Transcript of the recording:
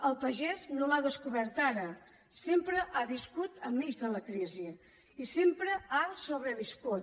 el pagès no l’ha descoberta ara sempre ha viscut enmig de la crisi i sempre ha sobreviscut